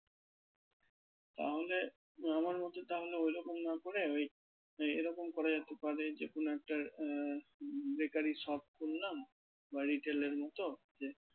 তাহলে আমার মত তাহলে ওই রকম না করে ওই এরকম করা যেতে পারে যে কোনো একটা আহ bakery shop খুললাম বা retail এর মত